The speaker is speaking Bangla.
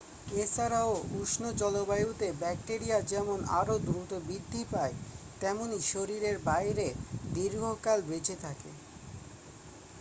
এ ছাড়াও উষ্ণ জলবায়ুতে ব্যাকটেরিয়া যেমন আরও দ্রুত বৃদ্ধি পায় তেমনই শরীরের বাইরে দীর্ঘকাল বেঁচে থাকে